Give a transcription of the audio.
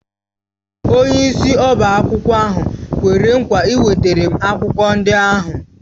Onyeisi ọbá akwụkwọ ahụ kwere nkwa ịwetara m akwụkwọ ndị ahụ